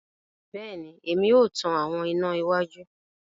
Bẹẹni, Èmí o tan àwọn iná iwájú